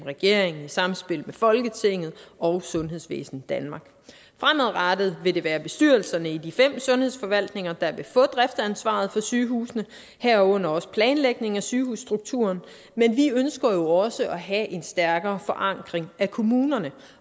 regeringen i samspil med folketinget og sundhedsvæsen danmark fremadrettet vil det være bestyrelserne i de fem sundhedsforvaltninger der vil få driftsansvaret for sygehusene herunder også planlægning af sygehusstrukturen men vi ønsker også at have en stærkere forankring i kommunerne